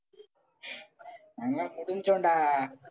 நாங்க எல்லாம் முடிஞ்சோம்டா.